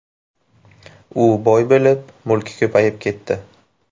U boy bo‘lib, mulki ko‘payib ketdi”.